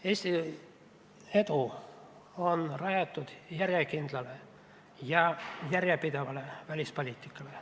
Eesti edu on rajatud järjekindlale ja järjepidevale välispoliitikale.